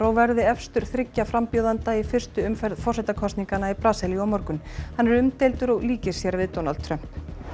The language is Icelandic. verði efstur þriggja frambjóðenda í fyrstu umferð forsetakosninga í Brasilíu á morgun hann er umdeildur og líkir sér við Donald Trump